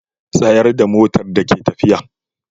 Tsaya da motar da ke tafiya.